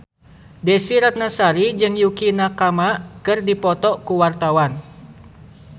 Desy Ratnasari jeung Yukie Nakama keur dipoto ku wartawan